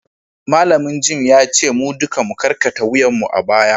malamin gem ya ce mu duka mu karkata wuyanmu a baya